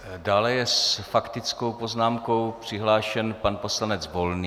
Dále je s faktickou poznámkou přihlášen pan poslanec Volný.